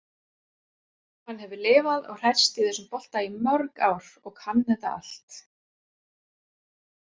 Hann hefur lifað og hrærst í þessum bolta í mörg ár og kann þetta allt.